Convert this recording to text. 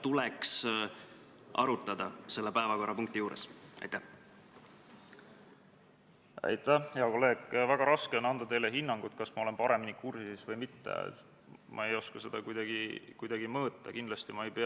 Tänane teine päevakorrapunkt on Vabariigi Valitsuse esitatud Riigikogu otsuse "Kaitseväe kasutamise tähtaja pikendamine Eesti riigi rahvusvaheliste kohustuste täitmisel ÜRO rahuvalvemissioonil Liibanonis" eelnõu 63 teine lugemine.